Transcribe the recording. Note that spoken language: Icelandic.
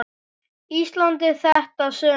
Íslandi þetta sumar.